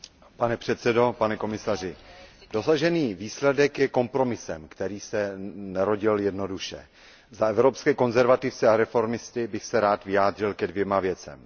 Pane předsedající, pane komisaři, dosažený výsledek je kompromisem, který se nerodil jednoduše. Za skupinu Evropských konzervativců a reformistů bych se rád vyjádřil ke dvěma věcem.